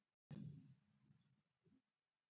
Hefur staðan breyst?